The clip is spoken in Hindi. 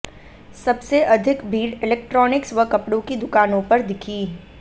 सबसे अधिक भीड़ इलेक्ट्रॉनिक्स व कपड़ों की दुकानों पर दिखी